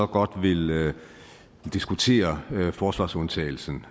godt vil diskutere forsvarsundtagelsen